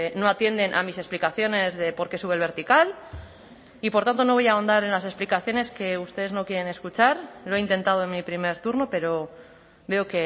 no atienden a mis explicaciones de porqué sube el vertical y por tanto no voy a ahondar en las explicaciones que ustedes no quieren escuchar lo he intentado en mi primer turno pero veo